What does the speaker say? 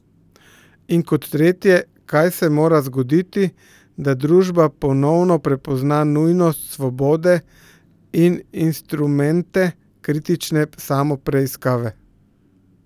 In kot tretje, kaj se mora zgoditi, da družba ponovno prepozna nujnost svobode in instrumente kritične samopreiskave?